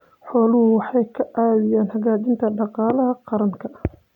Xooluhu waxay ka caawiyaan xoojinta dhaqaalaha qaranka.